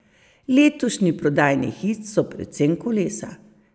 Letošnji prodajni hit so predvsem kolesa.